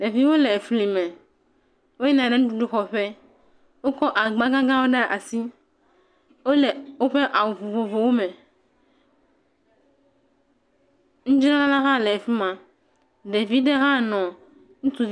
Ɖevi wo le efli me, woyina nuɖuɖu xɔ ƒe, wokɔ agba gã gãwo ɖe asi, wole woƒe awu vovovowo me. Nudzrala la hã le fi ma, ɖevi ɖe hã nɔ…